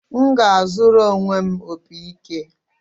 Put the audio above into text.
M ga-azụrụ onwe m opị ike